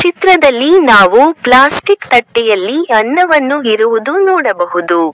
ಚಿತ್ರದಲ್ಲಿ ನಾವು ಪ್ಲಾಸ್ಟಿಕ್ ತಟ್ಟೆಯಲ್ಲಿ ಅನ್ನವನ್ನು ಇರುವುದು ನೋಡಬಹುದು.